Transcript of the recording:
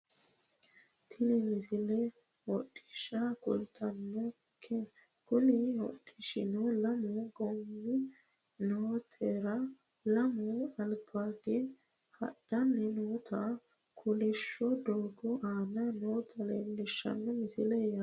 Tini misile hodhishsha kultannonke kuni hodhishshuno lamu goommi motore lame albaagge hadhanni nootanna kolishsho doogo aana noota leellishanno misileeti yaate